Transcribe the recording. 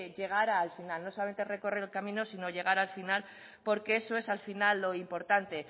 llegar al final no solamente recorrer el camino sino llegar al final porque eso es al final lo importante